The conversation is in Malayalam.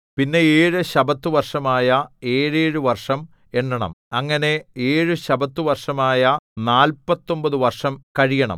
പിന്നെ ഏഴു ശബ്ബത്തുവർഷമായ ഏഴേഴുവർഷം എണ്ണണം അങ്ങനെ ഏഴു ശബ്ബത്തുവർഷമായ നാല്പത്തൊമ്പതു വർഷം കഴിയണം